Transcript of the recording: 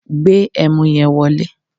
Gbe ẹmu yẹn wọlé!